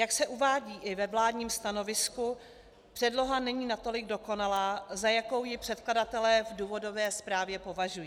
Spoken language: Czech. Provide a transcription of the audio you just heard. Jak se uvádí i ve vládním stanovisku, předloha není natolik dokonalá, za jakou ji předkladatelé v důvodové zprávě považují.